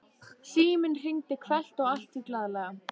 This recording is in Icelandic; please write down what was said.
Síminn hringdi hvellt og allt því glaðlega.